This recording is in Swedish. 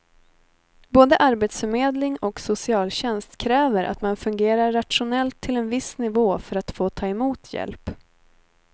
Både arbetsförmedling och socialtjänst kräver att man fungerar rationellt till en viss nivå för att få ta emot hjälp.